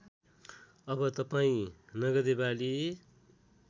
अब तपाईँं नगदेबाली